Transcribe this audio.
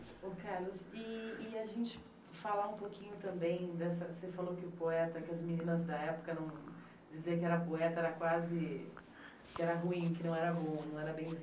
Carlos, e e a gente falar um pouquinho também dessa... Você falou que o poeta, que as meninas da época eram... Dizer que era poeta era quase... Que era ruim, que não era bom, não era bem